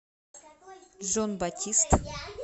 джон батист